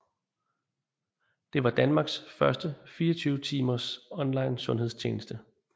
Det var Danmarks første 24 times online sundhedstjeneste